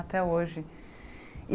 Até hoje.